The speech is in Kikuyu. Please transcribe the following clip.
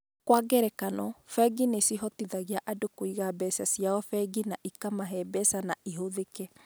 Kwa ngerekano, bengi nĩ ciĩhotithagia andũ kũiga mbeca ciao bengi na ikamahe mbeca na ihũthĩke.